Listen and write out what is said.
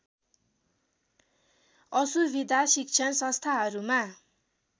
असुविधा शिक्षण संस्थाहरूमा